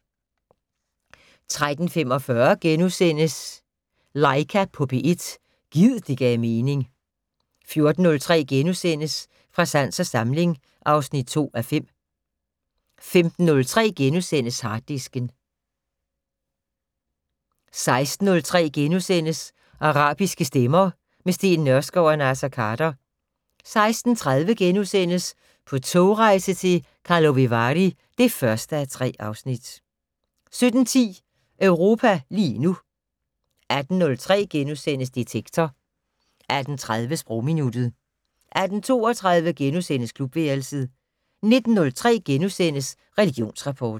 13:45: Laika på P1 - gid det gav mening * 14:03: Fra sans og samling (2:5)* 15:03: Harddisken * 16:03: Arabiske stemmer - med Steen Nørskov og Naser Khader * 16:30: På togrejse til Karlovy Vary (1:3)* 17:10: Europa lige nu 18:03: Detektor * 18:30: Sprogminuttet 18:32: Klubværelset * 19:03: Religionsrapport *